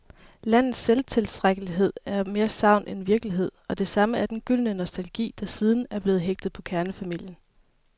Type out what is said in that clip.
Landets selvtilstrækkelighed er mere sagn end virkelighed, og det samme er den gyldne nostalgi, der siden er blevet hægtet på kernefamilien.